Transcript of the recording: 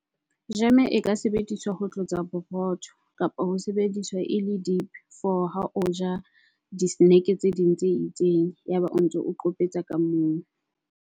Jeme e ka sebediswa ho tlotsa borotho kapa ho sebediswa e le dip for ha o ja di snack tse ding tse itseng. Yaba o ntso qopetsa ka moo.